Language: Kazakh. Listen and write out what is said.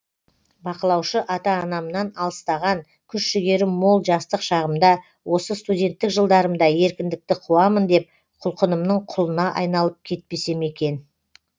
бақылаушы ата анамнан алыстаған күш жігерім мол жастық шағымда осы студенттік жылдарымда еркіндікті қуамын деп құлқынымның құлына айналып кетпесем екен